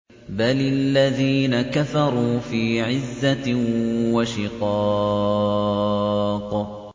بَلِ الَّذِينَ كَفَرُوا فِي عِزَّةٍ وَشِقَاقٍ